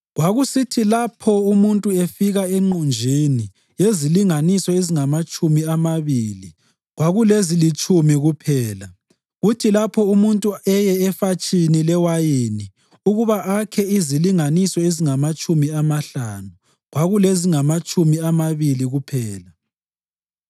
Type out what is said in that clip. Kwakusithi lapho umuntu efika enqunjini yezilinganiso ezingamatshumi amabili, kwakulezilitshumi kuphela. Kuthi lapho umuntu eye efatshini lewayini ukuba akhe izilinganiso ezingamatshumi amahlanu, kwakulezingamatshumi amabili kuphela.